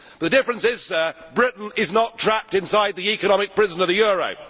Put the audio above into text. the difference is, Sir, Britain is not trapped inside the economic prison of the euro.